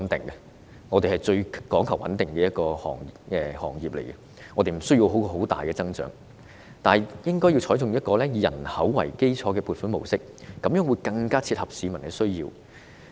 醫護界是最講求穩定的一個行業，無需很大的增長，但應該採取以人口為基礎的撥款模式，這樣做更能切合市民需要。